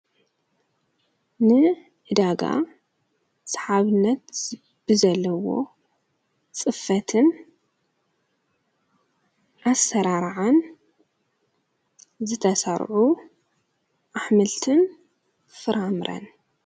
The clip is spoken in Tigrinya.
ን እዕዳጋ ሰሓብነት ብዘለዎ ጽፈትን ኣሠራርዓን ዘተሠርዑ ኣኅምልትን ፍራምረን።